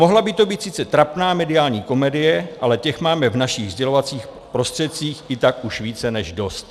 Mohla by to být sice trapná mediální komedie, ale těch máme v našich sdělovacích prostředcích i tak už více než dost.